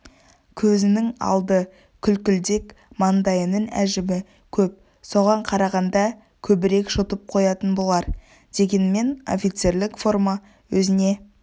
көзінің алды күлкілдек маңдайының әжімі көп соған қарағанда көбірек жұтып қоятын болар дегенмен офицерлік форма өзіне